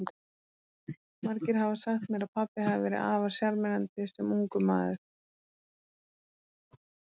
Margir hafa sagt mér að pabbi hafi verið afar sjarmerandi sem ungur maður.